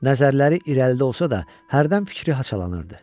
Nəzərləri irəlidə olsa da, hərdən fikri haçalanırdı.